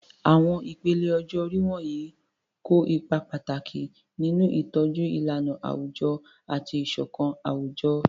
Àwọn ìpele ọjọ́ orí wọ̀nyí kó ipa pàtàkì nínú ìtọ́jú ìlànà àwùjọ àti ìṣọ̀kan àwùjọ.